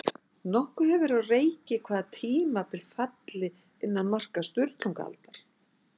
Nokkuð hefur verið á reiki hvaða tímabil falli innan marka Sturlungaaldar.